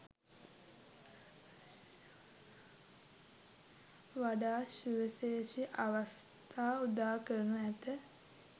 වඩාත් සුවිශේෂී අවස්ථා උදාකරනු ඇත.